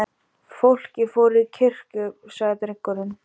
Fólkið fór til kirkju, sagði drengurinn.